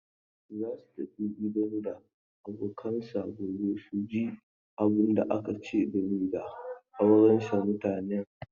Za su tafi gidan da abokanansa gobe su ji abunda aka ce game da auransa mutanen.